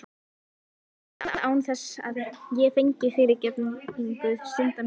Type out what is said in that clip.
Og það án þess ég fengi fyrirgefningu synda minna.